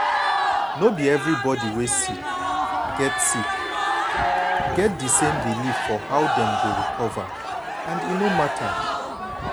no be everybody wey sick get sick get di same belief for how dem go recover and e no matter.